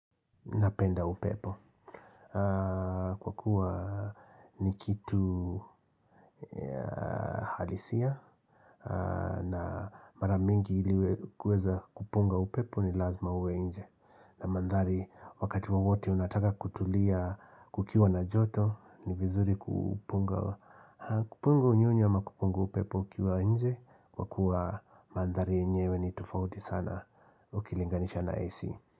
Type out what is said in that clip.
Napenda upepo. Kwa kuwa ni kitu halisia. Na mara mingi ili kuweza kupunga upepo ni lazima uwe nje. Na mandhari wakati wowote unataka kutulia kukiwa na joto. Ni vizuri kupunga. Kupunga unyonyi ama kupunga upepo ukiwa nje. Kwa kuwa mandhari yenyewe ni tofauti sana ukilinganisha na AC.